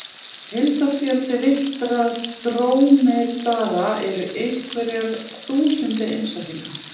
Heildarfjöldi villtra drómedara eru einhverjar þúsundir einstaklinga.